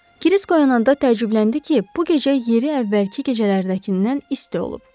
Krisk oyananda təəccübləndi ki, bu gecə yeri əvvəlki gecələrdəkindən isti olub.